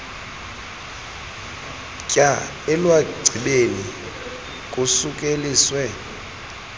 tyaa elwagcibeni kusukeliswe